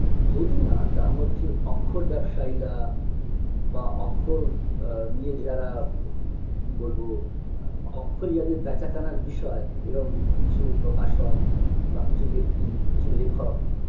যদি না তার মধ্যে অক্ষর ব্যবসায়ীরা বা অক্ষর আ নিয়ে যারা উম কি বলবো অক্ষরই যাদের বেচাকেনার বিষয় এরম কিছু প্রকাশক বা কিছু ব্যক্তি কিছু লেখক